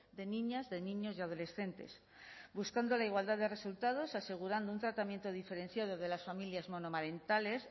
de niñas de niños y adolescentes buscando la igualdad de resultados asegurando un tratamiento diferenciado de las familias monomarentales